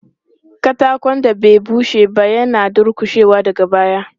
Katakon da bai bushe ba yana dulƙushewa daga baya.